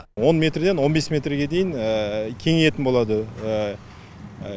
он метрден он бес метрге дейін кеңейетін болады